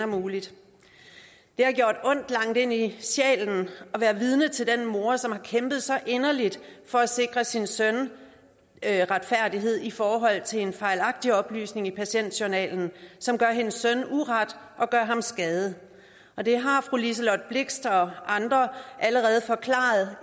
muligt det har gjort ondt langt ind i sjælen at være vidne til den mor som har kæmpet så inderligt for at sikre sin søn retfærdighed i forhold til en fejlagtig oplysning i patientjournalen som gør hendes søn uret og gør ham skade fru liselott blixt og andre har allerede forklaret